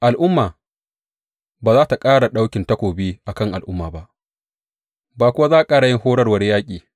Al’umma ba za tă ƙara ɗauki takobi a kan al’umma ba, ba kuwa za su ƙara yin horarwar yaƙi.